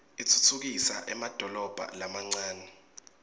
atfutfukisa emadolobha lamancane